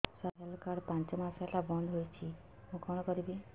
ସାର ମୋର health card ପାଞ୍ଚ ମାସ ହେଲା ବଂଦ ହୋଇଛି ମୁଁ କଣ କରିବି